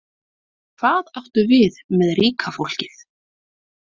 Hvað áttu við með ríka fólkið?